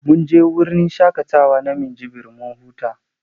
Mun je wurin shaƙatawa na Minjibir mun huta.